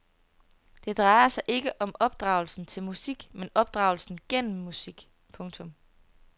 Det drejer sig ikke om opdragelse til musik men opdragelse gennem musik. punktum